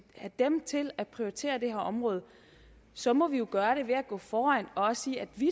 have dem til at prioritere det her område så må vi jo gøre det ved at gå foran og sige at vi